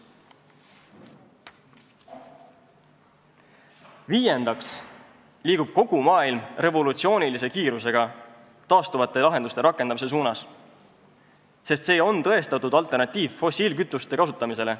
Viiendaks liigub kogu maailm revolutsioonilise kiirusega taastuvate lahenduste rakendamise suunas, sest see on tõestatud alternatiiv fossiilkütuste kasutamisele.